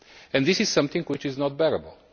That is something which is not bearable.